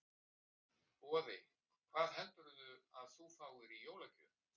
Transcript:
Boði: Hvað heldurðu að þú fáir í jólagjöf?